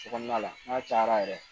Sokɔnɔna la n'a cayara yɛrɛ